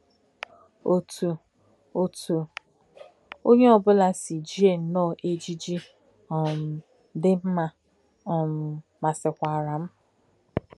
Òtú̄ Òtú̄ ònyè̄ ọ̀ bụ̄lá̄ sī̄ jì̄è nnọ́ọ̄ éjìjì̄ um dí̄ mmā um màsị́kwara m̀.